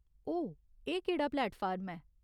ओह्, एह् केह्ड़ा प्लेटफार्म ऐ ?